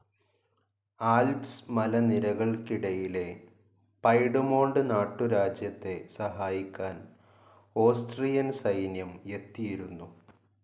Alps മലനിരകള്ക്കിടയിലെ Piedmont നാട്ടുരാജ്യത്തെ സഹായിക്കാൻ ഓസ്ട്രിയൻ സൈന്യം എത്തിയിരുന്നു.